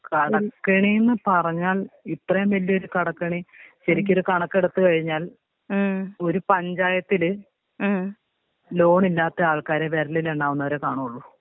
കടക്കെണീന്നു പറഞ്ഞാൽ ഇത്രയും വലിയ കടക്കെണി ശരിക്കൊരു കണക്കെടുത്തു കഴിഞ്ഞാൽ. ഒരു പഞ്ചായത്തില്. ലോണില്ലാത്ത ആൾക്കാര് വിരലിലെണ്ണാവുന്നവരെ കാണൊള്ളു.